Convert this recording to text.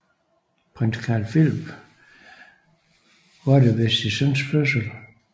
Prins Carl Phillip var til stede ved sin søns fødsel